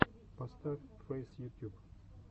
поставь фэйс ютюб